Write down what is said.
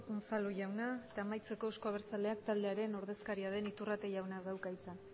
unzalu jauna eta amaitzeko euzko abertzaleak taldearen ordezkaria den iturrate jaunak dauka hitza